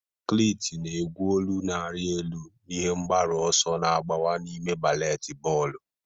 Cliti na-egwu, olu na-arị elu, na ihe mgbaru ọsọ na-agbawa n'ime baleti bọọlụ.